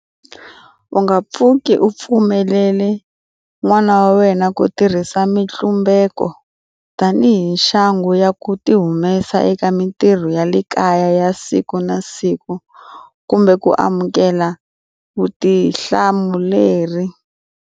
U nga pfuki u pfumelele n'wana wa wena ku tirhisa mitlumbeko tanihi nxangu ya ku tihumesa eka mitirho ya le kaya ya siku na siku kumbe ku amukela vutihlamuleri.